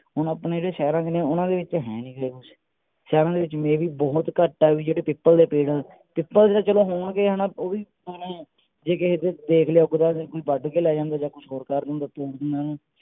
ਹੁਣ ਆਪਣੇ ਜਿਹੜੇ ਸ਼ਹਿਰ ਹੈਗੇ ਨੇ ਉਹਨਾਂ ਦੇ ਵਿਚ ਹੈ ਨਹੀ ਕੁਛ, ਸ਼ਹਿਰਾ ਦੇ ਵਿਚ maybe ਬਹੁਤ ਘੱਟ ਆ ਜਿਹੜੇ ਪਿੱਪਲ ਦੇ ਪੇੜ ਆ, ਪਿੱਪਲ ਤਾਂ ਚਲੋ ਹੋਣਗੇ ਹਨਾ ਉਹ ਵੀ ਜੇ ਕਿੱਤੇ ਦੇਖ ਲਿਆ ਲੋਕ ਵੱਡ ਕੇ ਲੈ ਜਾਂਦੇ ਜਾਂ ਕੁਛ ਹੋਰ